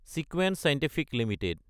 Sequent Scientific Ltd